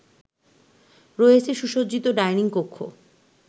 রয়েছে সুসজ্জিত ডাইনিং কক্ষ